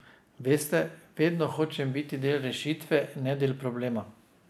Veste, vedno hočem biti del rešitve, ne del problema.